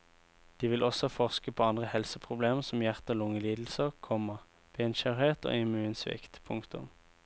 De vil også forske på andre helseproblemer som hjerte og lunge lidelser, komma benskjøret og immunsvikt. punktum